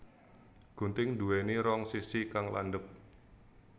Gunting nduwéni rong sisi kang landhep